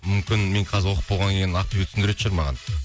мүмкін мен қазір оқып болғаннан кейін ответ шығар маған